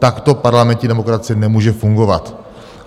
Takto parlamentní demokracie nemůže fungovat!